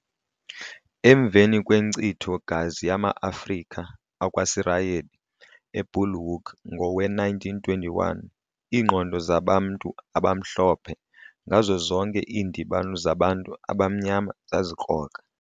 Emveni kwenkcitho gazi yama-Afrika akwaSirayeli eBulhoek ngowe-1921, iingqondo zabantu abaMhlophe ngazo zonke iindibano zabantu abamnyama zazikrokra.